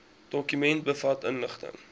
dokument bevat inligting